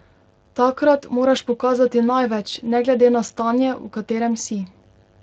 Takrat moraš pokazati največ, ne glede na stanje, v katerem si.